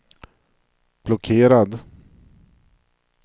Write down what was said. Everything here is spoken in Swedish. blockerad